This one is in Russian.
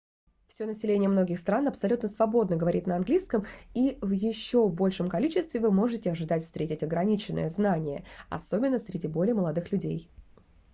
всё население многих стран абсолютно свободно говорит на английском и в ещё большем количестве вы можете ожидать встретить ограниченное знание особенно среди более молодых людей